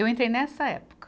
Eu entrei nessa época.